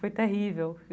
Foi terrível.